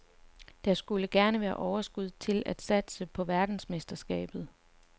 Der skulle gerne være overskud til at satse på verdensmesterskabet.